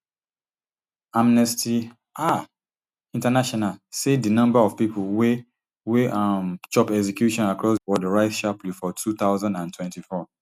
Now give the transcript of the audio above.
amnesty um international say di number of pipo wey wey um chop execution across di world rise sharply for two thousand and twenty-four